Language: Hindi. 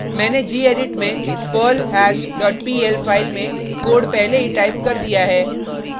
मैंने gedit में perlhash dot pl फाइल में कोड पहले ही टाइप कर दिया है